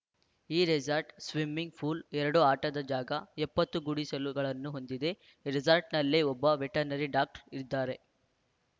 ಈ resort swimming pool ಎರಡು ಆಟದ ಜಾಗ ಎಪ್ಪತ್ತು ಗುಡಿಸಲುಗಳನ್ನು ಹೊಂದಿದೆ ರೆಸಾರ್ಟ್‌ನಲ್ಲೇ ಒಬ್ಬ ವೆಟರ್ನರಿ ಡಾಕ್ಟರ್‌ ಇರಲಿದ್ದಾರೆ